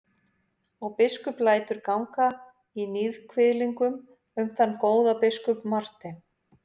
Og biskup lætur ganga í níðkviðlingum um þann góða biskup Martein.